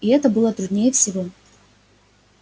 и это было труднее всего